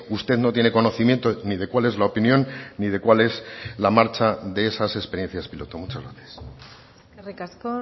usted no tiene conocimiento ni de cuál es la opinión ni de cuál es la marcha de esas experiencias piloto muchas gracias eskerrik asko